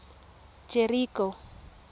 jeriko